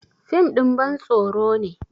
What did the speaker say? fim ɗin bantsoro ne